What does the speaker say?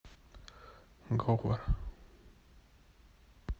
говор